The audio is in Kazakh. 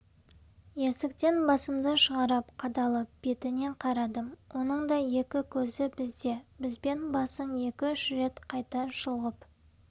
есіктен басымды шығарып қадалып бетіне қарадым оның да екі көзі бізде бізбен басын екі-үш қайта шұлғып